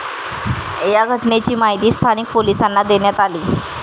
या घटनेची माहिती स्थानिक पोलिसांना देण्यात आली.